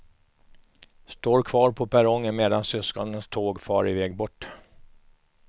Står kvar på perrongen medan syskonens tåg far iväg bort.